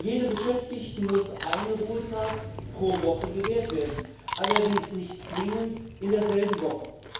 Jedem Beschäftigten muss ein Ruhetag pro Woche gewährt werden, allerdings nicht zwingend in derselben Woche.